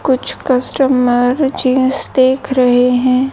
कुछ customer jeans देख रहे है।